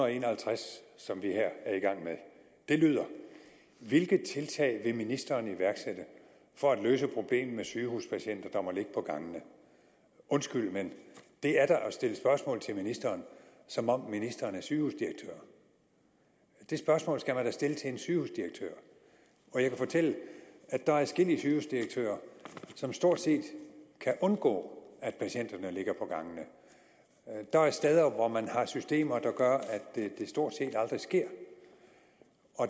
en og halvtreds som vi her er i gang med lyder hvilke tiltag vil ministeren iværksætte for at løse problemet med sygehuspatienter der må ligge på gangene undskyld men det er da at stille spørgsmål til ministeren som om ministeren er sygehusdirektør det spørgsmål skal man da stille til en sygehusdirektør og jeg kan fortælle at der er adskillige sygehusdirektører som stort set kan undgå at patienterne ligger på gangene der er steder hvor man har systemer der gør at det stort set aldrig sker